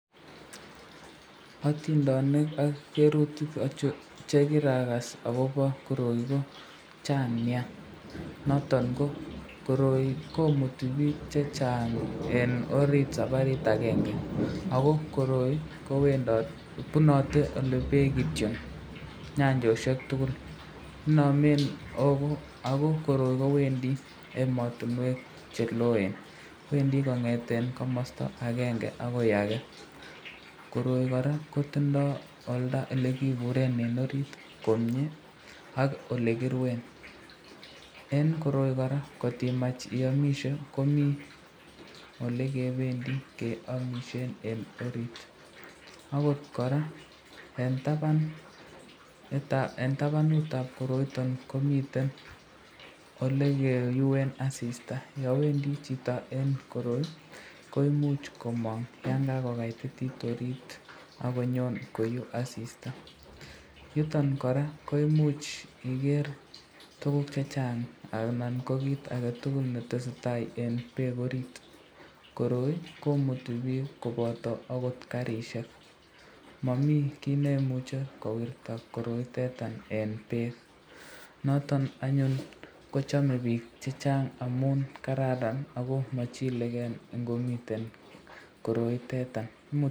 Atindonik ak cherutok achon chekirakas akobo koroi ko Chang nia, noton ko koroi komuti bik chechang eng orit sabarit akenge, ako koroi kobunate ole bek kityo, nyanjoshek tukul, inamen ako koroi kowendi ematinwek cheloen ,Wendi kongeten komasta akenge akoi ake, koroi koraa kotindo olda olekiburen eng orit komnye ak olekiriun, eng koroi koraa kotimach iamiste komi olekebendi keamisyen eng orit, akot koraa eng tabanutab koroitan komiten olekeuen asista, yan Wendi chito eng koroi koimuch komang yan kakokaititit orit, akonyon koyu asista, yutan koraa koimuch koger tukuk chechang anan ko kit aketukul netesetai eng bek orit, koroi komuti bik koboto aky karishek, Mami kit neimuche kowirtab koroitani eng bek, noton anyun kichame bik chechang amun kararan ako machileken ingomiten koroiteta.